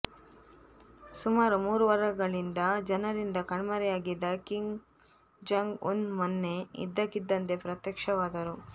ಸುಮಾರು ಮೂರು ವಾರಗಳಿಂದ ಜನರಿಂದ ಕಣ್ಮರೆಯಾಗಿದ್ದ ಕಿಮ್ ಜಾಂಗ್ ಉನ್ ಮೊನ್ನೆ ಇದ್ದಕ್ಕಿದ್ದಂತೆ ಪ್ರತ್ಯಕ್ಷವಾದರು